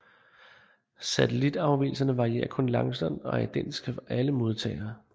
Satellitafvigelserne varierer kun langsomt og er identiske for alle modtagere